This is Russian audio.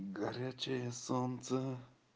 горячее солнце